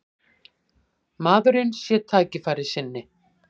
Maðurinn sé tækifærissinni